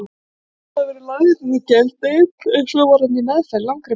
Pétur hafði verið lagður inn á geðdeild, en svo var hann í meðferð, langri meðferð.